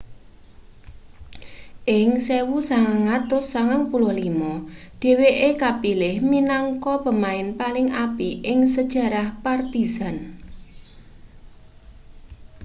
ing 1995 dheweke kapilih minangka pemain paling apik ing sejarah partizan